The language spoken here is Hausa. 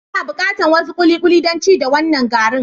N'na bukatan wasu kulikuli dan ci da wanan garin.